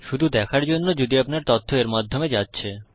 শুধু দেখার জন্য যদি আপনার তথ্য এর মাধ্যমে যাচ্ছে